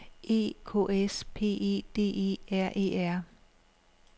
E K S P E D E R E R